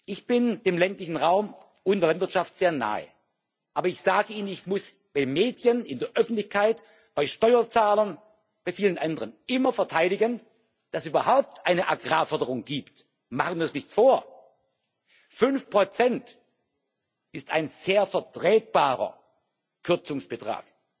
Ich bin dem ländlichen Raum und der Landwirtschaft sehr nahe, aber ich sage Ihnen Ich muss bei Medien, in der Öffentlichkeit, bei Steuerzahlern, bei vielen anderen immer verteidigen, dass es überhaupt eine Agrarförderung gibt. Machen wir uns nichts vor 5 ist ein sehr vertretbarer Kürzungsbetrag,